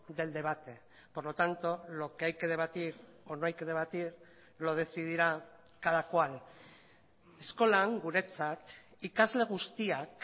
del debate por lo tanto lo que hay que debatir o no hay que debatir lo decidirá cada cual eskolan guretzat ikasle guztiak